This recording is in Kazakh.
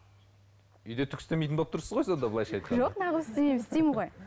үйде түк істемейтін болып тұрсыз ғой сонда былайша айтқанда жоқ неғып істемеймін істеймін ғой